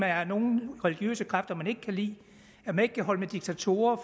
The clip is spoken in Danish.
er nogle religiøse kræfter man ikke kan lide at man ikke kan holde med diktatorer